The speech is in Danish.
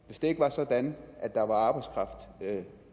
hvis det ikke var sådan at der var arbejdskraft